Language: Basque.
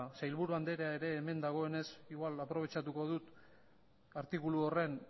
sailburu anderea ere hemen dagoenez aprobetxatuko dut artikulu horren